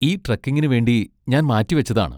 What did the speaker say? ഈ ട്രെക്കിങിന് വേണ്ടി ഞാൻ മാറ്റിവച്ചതാണ്.